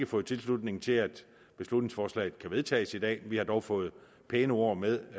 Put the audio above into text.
fået tilslutning til at beslutningsforslaget kan vedtages i dag vi har dog fået pæne ord med